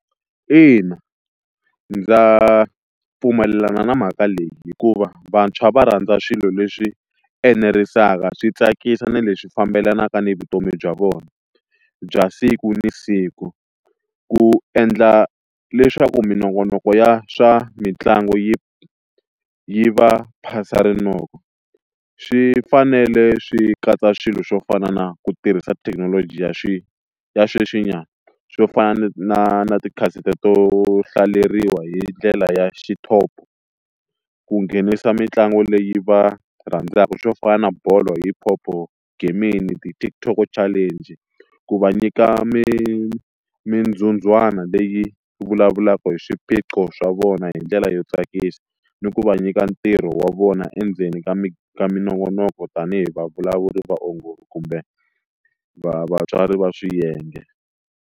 Ina, ndza pfumelelana na mhaka leyi hikuva vantshwa va rhandza swilo leswi enerisaka swi tsakisa na leswi fambelanaka ni vutomi bya vona bya siku na siku ku endla leswaku minongonoko ya swa mitlangu yi yi va phasa rinoko, swi fanele swi katsa swilo swo fana na ku tirhisa thekinoloji ya ya sweswinyana swo fana na na ti to hlaleriwa hi ndlela ya xithopo ku nghenisa mitlangu leyi va rhandzaka swo fana na bolo, hip hop, gaming, ti-TikTok challenge ku va nyika mi mindzundzwana leyi vulavulaka hi swiphiqo swa vona hi ndlela yo tsakisa ni ku va nyika ntirho wa vona endzeni ka mi ka minongonoko tanihi vavulavuri vaongori kumbe vatswari va swiyenge.